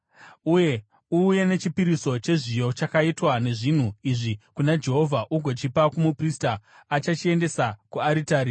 Uuye nechipiriso chezviyo chakaitwa nezvinhu izvi kuna Jehovha, ugochipa kumuprista achachiendesa kuaritari.